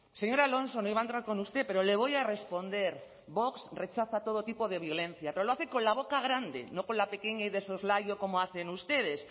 señor alonso no iba a entrar con usted pero le voy a responder vox rechaza todo tipo de violencia pero lo hace con la boca grande no con la pequeña y de soslayo como hacen ustedes